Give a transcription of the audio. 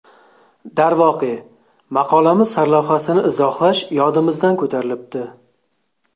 Darvoqe, maqolamiz sarlavhasini izohlash yodimizdan ko‘tarilibdi.